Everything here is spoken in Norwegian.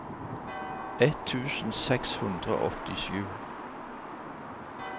ett tusen seks hundre og åttisju